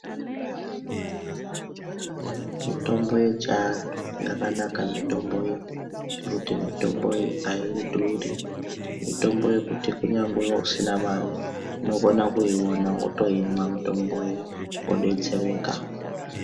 Mitombo yechantu, yakanaka mitombo iyi, ngekuti mitombo iyi ayiduri. Mitombo yekuti kunyangwe usina mari, unokona kuyiwona wotoyimwa mitomboyo, wodetsereka.